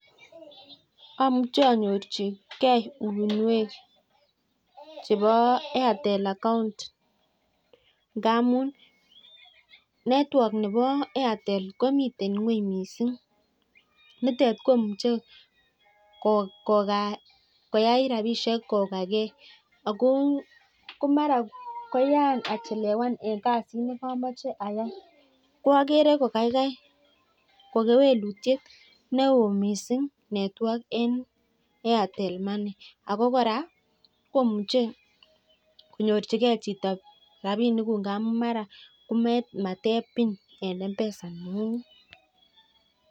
Amuche anyorchikee uinwek chebo airtel account ,ngamun network nebo artel komiten ngweng missing ,niton komuche koyai rapisiek kokagee ,komara koyaan achelewan en kasit nekomoche ayai ko akere kokayai kewelutiet ne oo missing network en artel money ako kora komuche konyorchike chito rapinikuk ngamun mara komatep pin en m-pesa neng'ung'et.